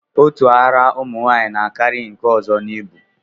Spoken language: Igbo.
Otu ara ụmụnwaanyị na-akarị nke ọzọ n'ibu